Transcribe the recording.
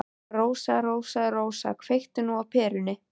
Rósa, Rósa, Rósa, kveiktu nú á perunni.